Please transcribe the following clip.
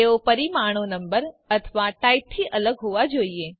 તેઓ પરિમાણો નંબર અથવા ટાઇપથી અલગ હોવા જોઈએ